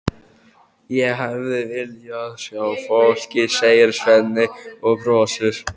Ég hefði viljað sjá fólkið, segir Svenni og brosir.